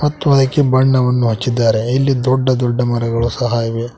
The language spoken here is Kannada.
ಮತ್ತು ಅದಕ್ಕೆ ಬಣ್ಣವನ್ನು ಹಚ್ಚಿದ್ದಾರೆ ಇಲ್ಲಿ ದೊಡ್ಡ ದೊಡ್ಡ ಮರಗಳು ಸಹ ಇವೆ.